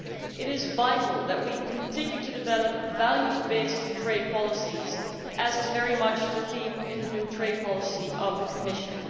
It is vital that we continue to develop values based trade policies, as is very much the theme of the new trade policy of the Commission.